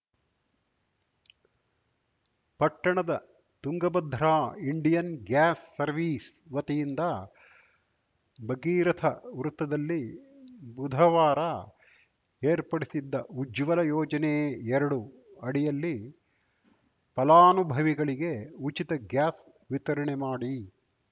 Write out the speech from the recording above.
ಪಟ್ಟಣದ Tungabhadra Indian gas service ವತಿಯಿಂದ ಭಗೀರಥ ವೃತ್ತದಲ್ಲಿ ಬುಧವಾರ ಏರ್ಪಡಿಸಿದ್ದ ಉಜ್ವಲ ಯೋಜನೆಎರಡು ಅಡಿಯಲ್ಲಿ ಫಲಾನುಭವಿಗಳಿಗೆ ಉಚಿತ ಗ್ಯಾಸ್‌ ವಿತರಣೆ ಮಾಡಿ